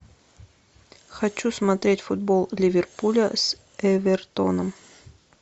хочу смотреть футбол ливерпуля с эвертоном